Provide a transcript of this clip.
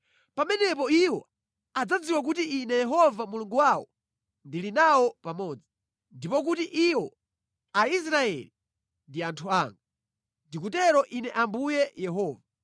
Pamenepo iwo adzadziwa kuti Ine Yehova Mulungu wawo ndili nawo pamodzi, ndipo kuti iwo, Aisraeli, ndi anthu anga. Ndikutero Ine Ambuye Yehova.